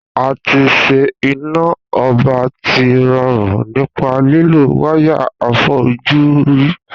A tí ṣe iná ọba tí rọrùn nípa lílo wáyà àfojúrí